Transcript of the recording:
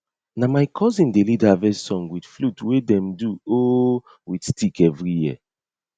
na my cousin dey lead harvest song with flute wey dem do um with stick every year